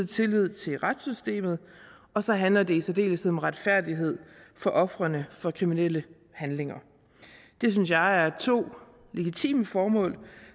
tilliden til retssystemet og så handler det i særdeleshed om retfærdighed for ofrene for kriminelle handlinger det synes jeg er to legitime formål